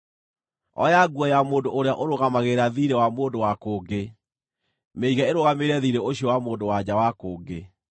Oya nguo ya mũndũ ũrĩa ũrũgamagĩrĩra thiirĩ wa mũndũ wa kũngĩ; mĩige ĩrũgamĩrĩre thiirĩ ũcio wa mũndũ-wa-nja wa kũngĩ.